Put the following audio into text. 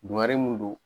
Dugare mun don